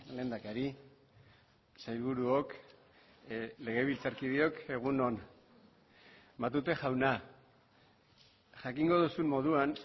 lehendakari sailburuok legebiltzarkideok egun on matute jauna jakingo duzun moduan